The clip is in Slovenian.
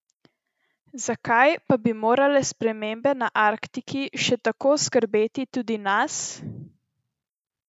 Zakaj pa bi morale spremembe na Arktiki še kako skrbeti tudi nas?